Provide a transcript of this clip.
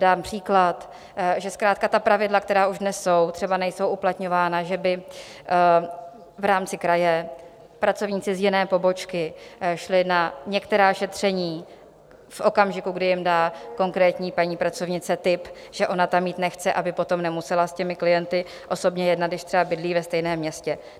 Dám příklad, že zkrátka ta pravidla, která už dnes jsou, třeba nejsou uplatňována, že by v rámci kraje pracovníci z jiné pobočky šli na některá šetření v okamžiku, kdy jim dá konkrétní paní pracovnice tip, že ona tam jít nechce, aby potom nemusela s těmi klienty osobně jednat, když třeba bydlí ve stejném městě.